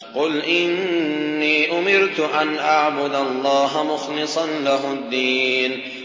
قُلْ إِنِّي أُمِرْتُ أَنْ أَعْبُدَ اللَّهَ مُخْلِصًا لَّهُ الدِّينَ